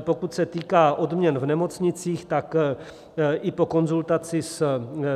Pokud se týká odměn v nemocnicích, tak i po konzultaci s